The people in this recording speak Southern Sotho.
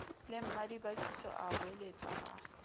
le mmadibakiso a hoeletsa a